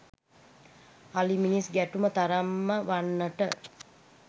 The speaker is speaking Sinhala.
අලි මිනිස් ගැටුම තරම්ම වන්නට